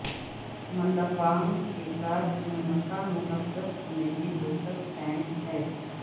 منڈپام کے ساتھ ملحقہ مقدس سنہری لوٹس ٹینک ہے